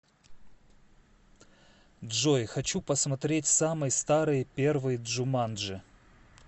джой хочу посмотреть самый старый первый джуманджи